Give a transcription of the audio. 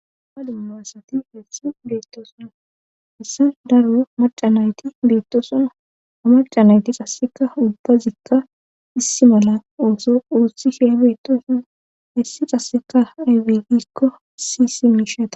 ha dummasati hessa beettoosuna hessan daru macanayti beetto suna ha macanayti qasseka ubba zikka issi mala ooso uossihe beettoosuna issi qasseka aybegikko si si miishata